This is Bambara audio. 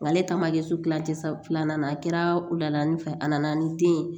Ale taama kɛ so kilancɛ sa filanan na a kɛra wulada in fɛ a nana ni den ye